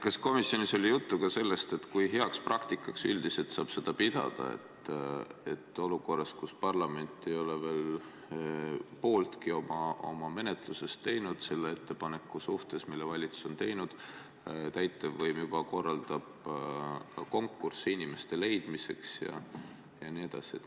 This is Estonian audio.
Kas komisjonis oli juttu sellest, kui heaks praktikaks saab pidada seda, et olukorras, kus parlament ei ole veel pooltki oma menetlusest selle valitsuse ettepaneku suhtes teinud, täitevvõim juba korraldab konkurssi sinna inimeste leidmiseks?